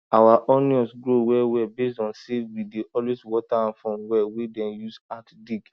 our onion grow well well based on say we dey always water am from well wey dem use had dig